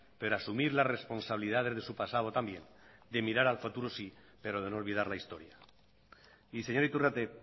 pero asumir las responsabilidades de su pasado también de mirar al futuro sí pero de no olvidar la historia y señor iturrate